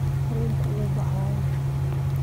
Tareenkii wuu baxay.